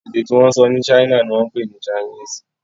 èdè tí wón sọ ní china ní wón pé ní Chinese.